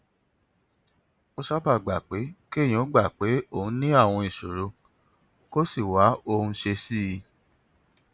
ó sábà gba pé kéèyàn gbà pé òun ní àwọn ìṣòro kó sì wá ohun ṣe sí i